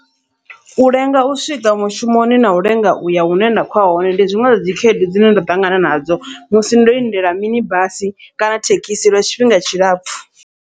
U lenga u swika mushumoni nau lenga uya hune nda khoya hone ndi zwiṅwe zwadzi khaedu dzine nda ṱangana nadzo, musi ndo lindela mini basi kana thekhisi lwa tshifhinga tshilapfhu.